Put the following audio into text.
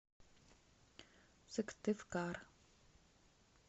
сыктывкар